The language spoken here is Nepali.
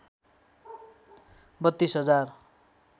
३२ हजार